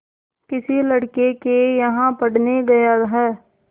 किसी लड़के के यहाँ पढ़ने गया है